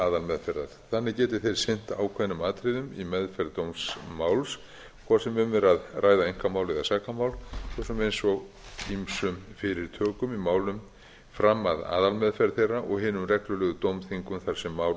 aðalmeðferðar þannig geti þeir sinnt ákveðnum atriðum í meðferð dómsmáls hvort sem um er að ræða einkamál eða sakamál svo sem eins og ýmsum fyrirtökum í málum fram að aðalmeðferð þeirra og hinum reglulegu dómþingum þar sem mál eru